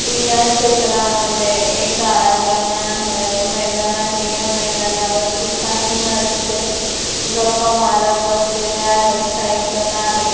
या चित्रा मध्ये एक आहे मैदान आहे या मैदानावरती काही माणसे गप्पा मारत बसलेले आहेत साईकल आहे.